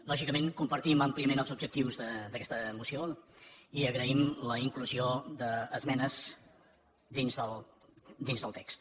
lògicament compartim àmpliament els objectius d’aquesta moció i agraïm la inclusió d’esmenes dins del text